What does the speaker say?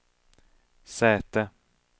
säte